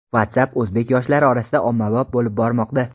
WhatsApp o‘zbek yoshlari orasida ommabop bo‘lib bormoqda.